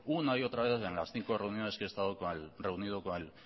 una y otra vez en las cinco reuniones que he estado reunido con el